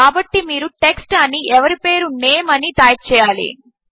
కాబట్టి మీరు టెక్స్ట్ అని ఎవరి పేరు నేమ్ అని టైప్ చేయాలి